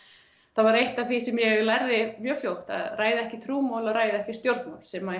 þá var eitt af því sem ég lærði mjög fljótt að ræða ekki trúmál og ræða ekki stjórnmál sem